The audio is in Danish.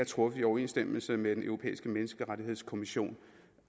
truffet i overensstemmelse med den europæiske menneskerettighedskonvention